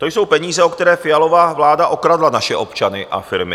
To jsou peníze, o které Fialova vláda okradla naše občany a firmy.